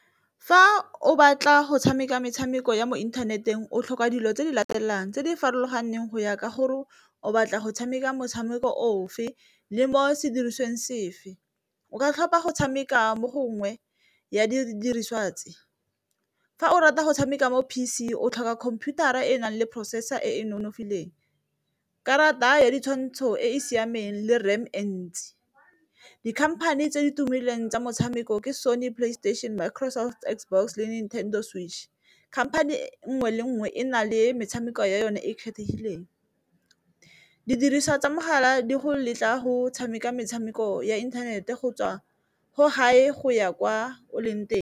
Fa o batla go tshameka metshameko ya mo inthaneteng o tlhoka dilo tse di latelang tse di farologaneng go ya ka gore o batla go tshameka motshameko ofe le mo sedirisiweng sefe, o ka tlhopha go tshameka mo gongwe ya didiriswa tse fa o rata go tshameka mo P_C o tlhoka computer-a e e nang le processor e e nonofileng. Karata ya ditshwantsho e e siameng le ram e ntsi, dikhamphane tse di tumileng tsa motshameko ke Sony playstation, Microsoft, Xbox, . Khamphane nngwe le nngwe e na le metshameko ya yone e e kgethegileng, didiriswa tsa mogala di go letla go tshameka metshameko ya inthanete go tswa ko hae go ya kwa o leng teng.